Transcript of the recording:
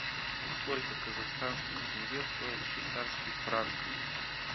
сколько казахстанских тенге стоит швейцарский франк